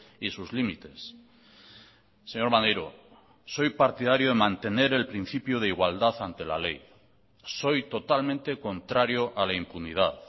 y sus límites señor maneiro soy partidario de mantener el principio de igualdad ante la ley soy totalmente contrario a la impunidad